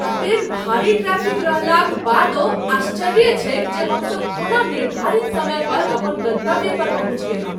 एतेक भारी ट्रैफ़िक रहलाक बादो आश्चर्ये छैक जे हमसब कोना निर्धारित समय पर अपन गंतव्य पर पहुँचि गेलहुँ।